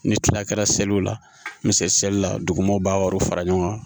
Ni tila kɛra seliw la n bɛ seli la dugumaaw b'a wariw fara ɲɔgɔn kan